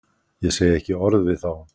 Ég segi ekki orð við þá